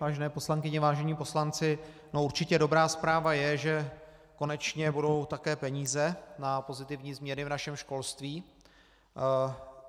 Vážené poslankyně, vážení poslanci, určitě dobrá zpráva je, že konečně budou také peníze na pozitivní změny v našem školství.